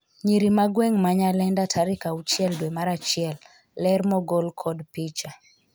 nyiri ma gweng' ma Nyalenda tarik auchiel dwe mar achiel ,ler mogol kod picha